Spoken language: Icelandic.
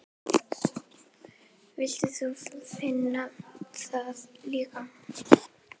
Vilt þú finna það líka?